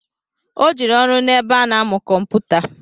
O jere ọrụ n'ebe ọ na-amụ kụmpụta